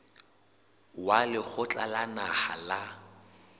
wa lekgotla la naha la